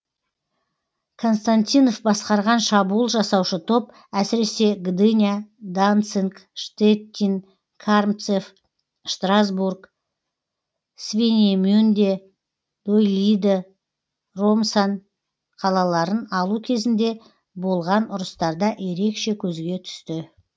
константинов басқарған шабуыл жасаушы топ әсіресе гдыня данцинг штеттин кармцев штрасбург свинемюнде доилиды ромсан қалаларын алу кезінде болған ұрыстарда ерекше көзге түсті